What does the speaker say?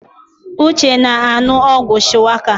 Uche na-anu ogwu Shuwaka